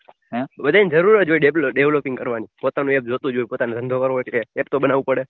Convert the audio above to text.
બધાય ને જરૂર જ હોય developing કરવાની પોતાનુ એક જોતું હોય પોતાનો ધંધો કરવો હોય તો કાંઈક તો બનાવું પડે